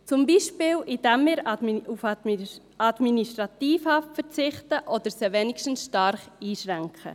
Zum Beispiel, indem wir auf Administrativhaft verzichten oder sie wenigstens stark einschränken.